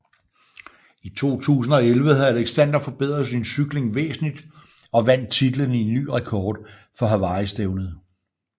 I 2011 havde Alexander forbedret sin cykling væsentligt og vandt titlen i ny rekord for Hawaii stævnet